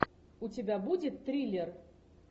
у тебя будет триллер